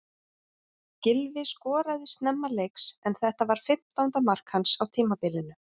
Gylfi skoraði snemma leiks en þetta var fimmtánda mark hans á tímabilinu.